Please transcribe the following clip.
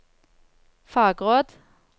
fagråd